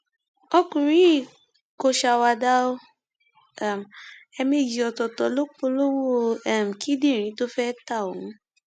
ọkùnrin yìí kò ṣàwàdà o um ẹẹmejì ọtọọtọ ló polówó um kíndìnrín tó fẹẹ ta ohun